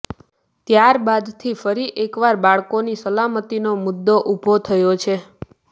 ત્યાર બાદથી ફરી એકવાર બાળકોની સલામતીનો મુદ્દો ઉભો થયો છે